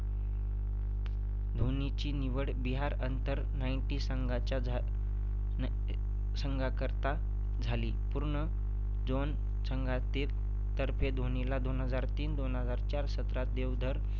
धोनीची निवड बिहार अंतर nineteen संघाच्या झा नाय संघाकरता झाली. पूर्ण zone संघातील तर्फे धोनीला दोन हजार तीन - दोन हजार चार सत्रात देवधर